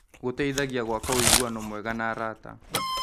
Gũteithagia gwaka ũiguano mwega na arata.